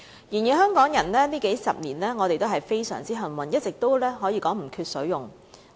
然而，香港人這數十年來非常幸運，可說是一直都不缺水用。